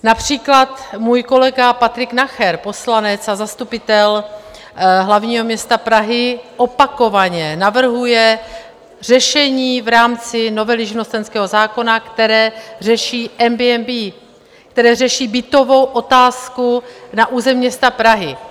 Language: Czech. Například můj kolega Patrik Nacher, poslanec a zastupitel hlavního města Prahy, opakovaně navrhuje řešení v rámci novely živnostenského zákona, které řeší Airbnb, které řeší bytovou otázku na území města Prahy.